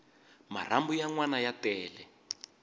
marhambu ya nwana ya tele